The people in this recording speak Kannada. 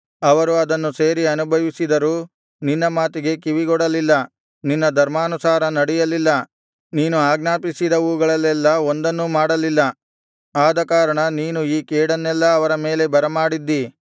ಅವರು ಅದನ್ನು ಸೇರಿ ಅನುಭವಿಸಿದರೂ ನಿನ್ನ ಮಾತಿಗೆ ಕಿವಿಗೊಡಲಿಲ್ಲ ನಿನ್ನ ಧರ್ಮಾನುಸಾರ ನಡೆಯಲಿಲ್ಲ ನೀನು ಆಜ್ಞಾಪಿಸಿದವುಗಳಲ್ಲೆಲ್ಲಾ ಒಂದನ್ನೂ ಮಾಡಲಿಲ್ಲ ಆದಕಾರಣ ನೀನು ಈ ಕೇಡನ್ನೆಲ್ಲಾ ಅವರ ಮೇಲೆ ಬರಮಾಡಿದ್ದಿ